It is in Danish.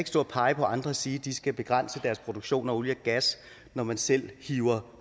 stå og pege på andre og sige at de skal begrænse deres produktion af olie og gas når man selv hiver